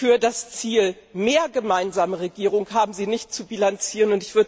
für das Ziel mehr gemeinsame Regierung haben Sie nicht zu bilanzieren.